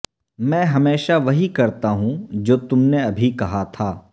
میں ہمیشہ وہی کرتا ہوں جو تم نے ابھی کہا تھا